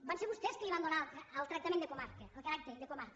van ser vostès que li van donar el tractament de comarca el caràcter de comarca